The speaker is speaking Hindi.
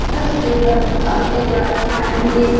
इधर से उधर आते जा आएंगे।